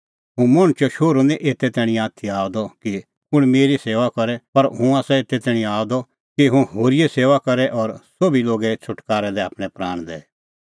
हुंह मणछो शोहरू निं एते तैणीं आथी आअ द कि कुंण मेरी सेऊआ करे पर हुंह आसा एते तैणीं आअ द कि हुंह होरीए सेऊआ करे और सोभी लोगे छ़ुटकारै लै आपणैं प्राण दैए